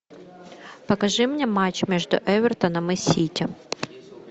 покажи мне матч между эвертоном и сити